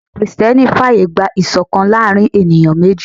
Ẹ̀sìn Kristẹni fàyè gba ìṣọ̀kan láàárín ènìyàn méjì